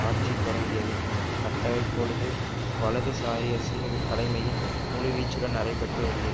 ஆட்சி தொடக்கியது அத்தகைப்பொழுது வலதுசாரியி சீரக தலைமையின் முழுவீச்சுடன் நடைபெற்று வருகிற